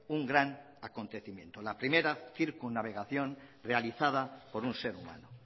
un gran acontecimiento la primera circunnavegación realizada por un ser humano